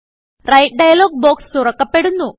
write dialog box തുറക്കപെടുന്നു